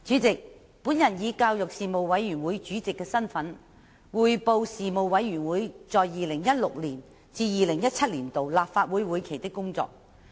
主席，我以教育事務委員會主席的身份，匯報事務委員會在 2016-2017 年度立法會會期的工作。